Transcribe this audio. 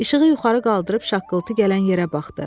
İşığı yuxarı qaldırıb şaqqıltı gələn yerə baxdı.